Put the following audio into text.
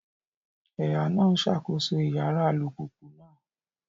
Ẹ̀há náà ń ṣàkóso Ìyára alùpùpù náà